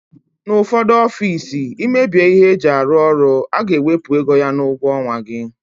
N'ufodu ọffici imebie ihe eji arụ ọrụ aga ewepu égo ya n'ugwo onwa gị.